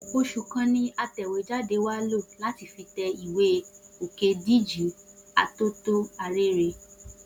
Oṣù kan ni atẹ̀wéjáde wa lò láti fi tẹ ìwé Òkédìjí Atótó Arére